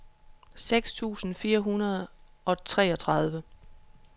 seks tusind fire hundrede og treogtredive